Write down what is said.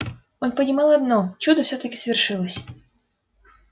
он понимал одно чудо всё-таки свершилось